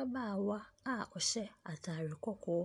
Ababaawa a ɔjhyɛ ataare kɔkɔɔ